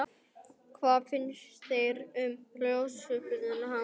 Sighvatur: Hvað finnst þér um uppljóstrarann, hana Báru?